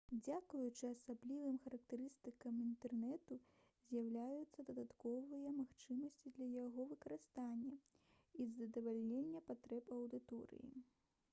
дзякуючы асаблівым характарыстыкам інтэрнэту з'яўляюцца дадатковыя магчымасці для яго выкарыстання і задавальнення патрэб аўдыторыі